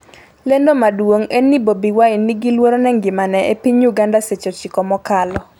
lendo maduong' en ni Bobi Wine 'ni gi luoro ne ngimane' e piny Uganda seche 9 mokalo